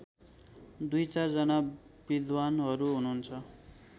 दुईचार जना विद्वानहरू हुनुहुन्छ